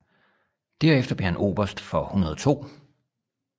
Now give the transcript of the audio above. Derefter blev han oberst for 102